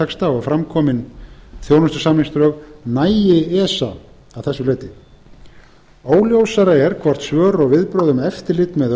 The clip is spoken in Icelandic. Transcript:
frumvarpstexta og fram komin þjónustusamningsdrög nægi esa að þessu leyti óljósara er hvort svör og viðbrögð um eftirlit með